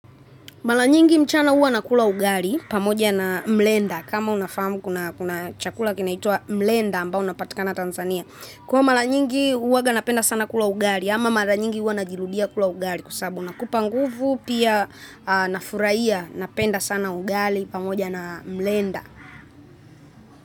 Mara nyingi mchana huwa nakula ugali pamoja na mlenda. Kama unafahamu kuna chakula kinaitwa mlenda ambao unapatikana Tanzania. Kwa maranyingi huwanga napenda sana kula ugali ama mara nyingi uwa najirudia kula ugali kwa sababu unakupa nguvu pia nafurahia napenda sana ugali pamoja na mlenda.